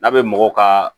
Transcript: N'a bɛ mɔgɔ ka